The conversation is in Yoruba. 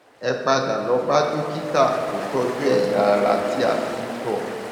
ẹ padà lọ bá dókítà tó tọjú ẹyà ara tí a fi ń tọ